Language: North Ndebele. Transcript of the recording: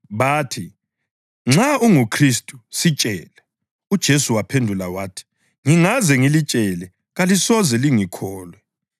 Bathi, “Nxa unguKhristu sitshele.” UJesu waphendula wathi, “Ngingaze ngilitshele kalisoze lingikholwe,